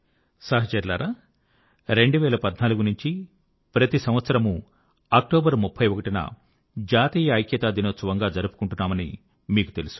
సహచరులారా 2014 నుంచి ప్రతి సంవత్సరమూ అక్టోబర్ 31 న జాతీయ ఐక్యతా దినోత్సవం గా జరుపుకుంటున్నామని మీకు తెలుసు